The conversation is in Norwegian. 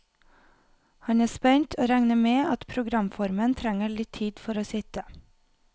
Han er spent, og regner med at programformen trenger litt tid for å sitte.